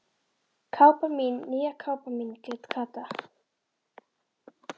Kápan mín, nýja kápan mín grét Kata.